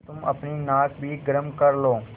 तुम अपनी नाक भी गरम कर लो